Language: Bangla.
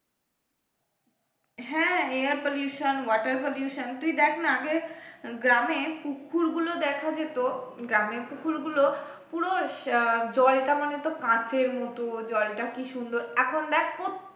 হ্যাঁ air pollution water pollution তুই দেখ না আগে গ্রামে পুকুর গুলো দেখা যেত গ্রামে পুকুর গুলো পুরো আহ জলটা মানে তোর কাচের মত জলটা কি সুন্দর এখন দেখ প্রত্যেক